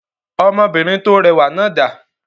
Ọmọbìnrin tó rẹwà náà dà?